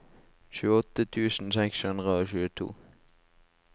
tjueåtte tusen seks hundre og tjueto